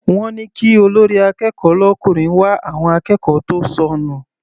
Wọ́n ní kí olórí akẹ́kọ̀ọ́ l'ọkùnrin wá àwọn akẹ́kọ̀ọ́ tó sọnù.